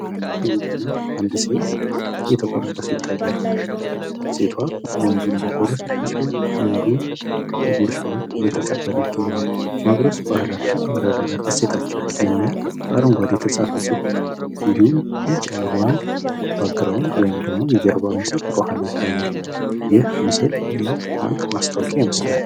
ወንድና አንድት ሴት እየተጎራረሱ ይታያሉ። ሴቷ ወንዱን እያጎረሰችው ሲሆን ወንዱም ጉርሻዋን እየተቀበለ ይገኛል። ማጉረስ ባህላችን መረዳዳት እሴታችን የሚል በአረንጓዴ የተጻፈ ጽሑፍ እንድሁም ቢጫ የሆነ ባክግራውንድ ወይም ደግሞ የጀርባ ምስል ከኋላ ይታያል። ይህ ምስል የባንክ ማስታወቂያ ይመስላል።